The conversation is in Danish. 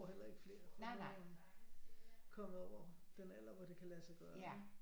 Hellere ikke flere for nu er hun kommet over den alder hvor det kan lade sig gøre ikke